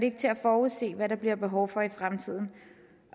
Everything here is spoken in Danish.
ikke til at forudse hvad der bliver behov for i fremtiden